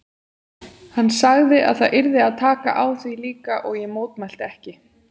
Hann sagði að það yrði að taka á því líka og ég mótmælti ekki.